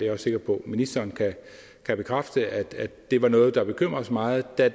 er sikker på at ministeren kan bekræfte at det var noget der bekymrede os meget da